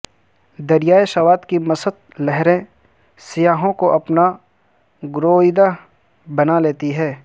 دریائے سوات کی مست لہریں سیاحوں کو اپنا گرویدہ بنا لیتی ہیں